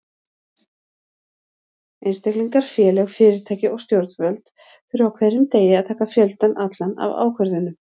Einstaklingar, félög, fyrirtæki og stjórnvöld þurfa á hverjum degi að taka fjöldann allan af ákvörðunum.